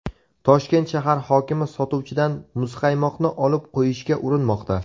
Toshkent shahar hokimi sotuvchidan muzqaymoqni olib qo‘yishga urinmoqda.